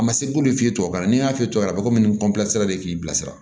A ma se k'olu f'i ye tubabukan na n'i y'a f'i ye a bɛ komi de k'i bilasira